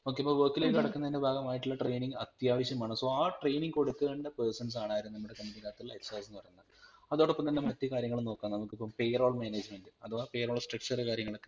Okay ഇപ്പം work ലേക് കടക്കുന്നതിന് ഭാഗമായിട്ടുള്ള training അതാവശ്യം ആൺ so ആ training കൊടുക്കേണ്ട persons ആണ് ആര് നമ്മളെ company ക് അകതുള്ള HR അതോടൊപ്പം തന്നെ മറ്റു കാര്യങ്ങളും നോകാം നമ്മക്കിപ്പം PAYROLL MANAGEMENT അഥവാ PAYROLL STRUCTURE കാര്യങ്ങളൊ